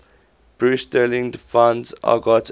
bruce sterling defines argot as